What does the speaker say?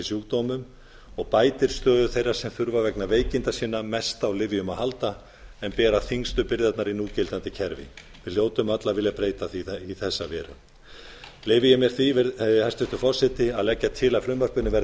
sjúkdómum og bætir stöðu þeirra sem þurfa vegna veikinda sinna mest af lyfjum að halda en bera þyngstu byrðarnar í núgildandi kerfi við hljótum öll að vilja breyta því í þessa veru leyfi ég mér því hæstvirtur forseti að leggja til að frumvarpinu verði